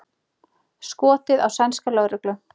Skotið á sænska lögreglu